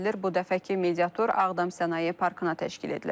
Bu dəfəki mediatur Ağdam Sənaye Parkına təşkil edilib.